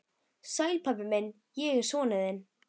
Sæll, pabbi minn, ég er sonur þinn.